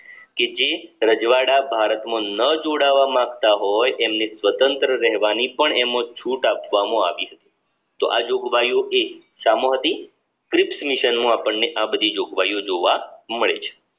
રજવાડા ભારતમાં ન જોડાવા માંગતા હોય તેમની સ્વતંત્ર રહેવાની પણ એમાં છૂટ આપવામાં આવી હતી તો આ જોગવાઈઓએ સામો હતી આ બધી જોગવાઈઓ જોવા મળે છે